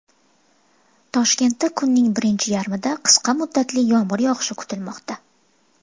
Toshkentda kunning birinchi yarmida qisqa muddatli yomg‘ir yog‘ishi kutilmoqda.